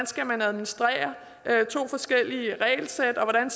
skal administrere to forskellige regelsæt og hvordan